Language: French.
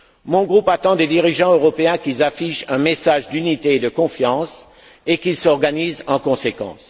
Mon groupe attend des dirigeants européens qu'ils affichent un message d'unité et de confiance et qu'ils s'organisent en conséquence.